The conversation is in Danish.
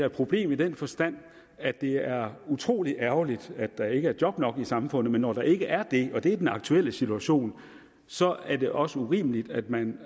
et problem i den forstand at det er utrolig ærgerligt at der ikke er job nok i samfundet men når der ikke er det og det er den aktuelle situation så er det også urimeligt at man